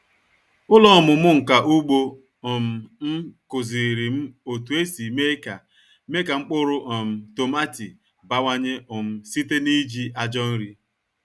Ụlọ ọmụmụ nka ugbo um m kụziri m otu esi mee ka mee ka mkpụrụ um tomati bawanye um site n’iji ajọ nri.